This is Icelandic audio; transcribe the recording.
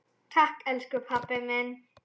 Takk elsku pabbi minn.